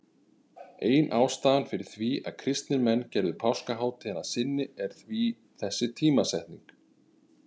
Ein ástæðan fyrir því að kristnir menn gerðu páskahátíðina að sinni er því þessi tímasetning.